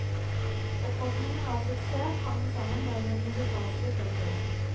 Oppfatningen av suksess hang sammen med den musikalske fremførelsen.